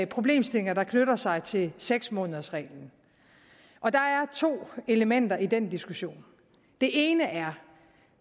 problemstillinger der knytter sig til seks månedersreglen og der er to elementer i den diskussion det ene er